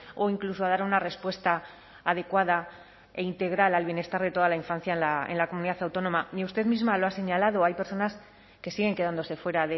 o incluso a dar una respuesta adecuada e integral al bienestar de toda la infancia en la comunidad autónoma ni usted misma lo ha señalado hay personas que siguen quedándose fuera